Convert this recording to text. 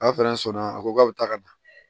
A fɛnɛ sɔnna a ko k'a bɛ taa ka na